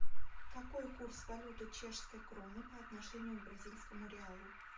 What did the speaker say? какой курс валюты чешской кроны по отношению к бразильскому реалу